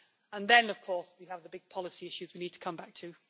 And then of course we have the big policy issues we need to come back to.